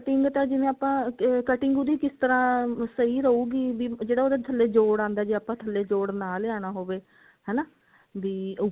ਵੈਸੇ ਤਾਂ ਜਿਵੇਂ ਆਪਾਂ cutting ਉਹਦੀ ਕਿਸ ਤਰ੍ਹਾਂ ਸਹੀ ਰਹੂਗੀ ਵੀ ਜਿਹੜਾ ਉਹਦੇ ਥੱਲੇ ਜੋੜ ਆਉਂਦਾ ਜੇ ਆਪਾਂ ਥੱਲੇ ਜੋੜ ਨਾ ਲਿਆਣਾ ਹੋਵੇ ਹਨਾ ਵੀ ਉੱਪਰ